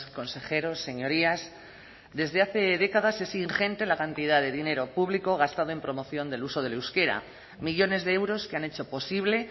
consejeros señorías desde hace décadas es ingente la cantidad de dinero público gastado en promoción del uso del euskera millones de euros que han hecho posible